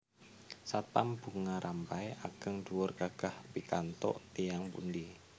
Satpam Bunga Rampai ageng dhuwur gagah pikantuk tiyang pundi?